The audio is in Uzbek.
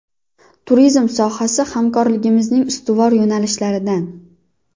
Turizm sohasi hamkorligimizning ustuvor yo‘nalishlaridan.